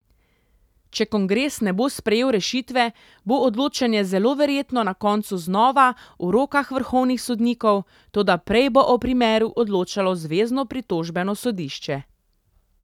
Če kongres ne bo sprejel rešitve, bo odločanje zelo verjetno na koncu znova v rokah vrhovnih sodnikov, toda prej bo o primeru odločalo zvezno pritožbeno sodišče.